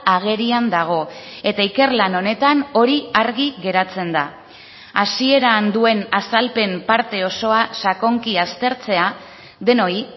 agerian dago eta ikerlan honetan hori argi geratzen da hasieran duen azalpen parte osoa sakonki aztertzea denoi